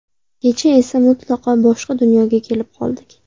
Kecha esa mutlaqo boshqa dunyoga kelib qoldik.